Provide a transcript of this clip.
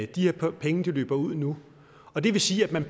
de her penge løber ud nu og det vil sige at man